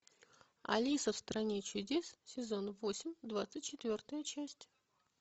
алиса в стране чудес сезон восемь двадцать четвертая часть